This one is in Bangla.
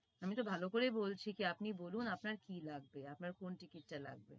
আমি তো ভালো করেই বলছি যে আপনি বলুন আপনার কি লাগবে আপনার কোন ticket টা লাগবে